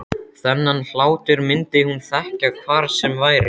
Þennan hlátur myndi hún þekkja hvar sem væri.